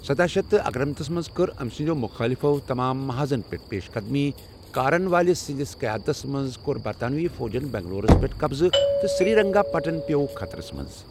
سداہ شیٚتھ اکنمتس منٛز کٔر أمۍ سٕنٛدٮ۪و مُخٲلِفو تمام محاذن پیٹھ پیشقدمی، کارن والیس سندِس قیادتس منز كوٚر برطانوی فوجن بنگلورس پیٹھ قبضہٕ تہٕ سری رنگا پٹن پیوٚو خطرس منٛز ۔